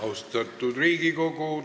Austatud Riigikogu!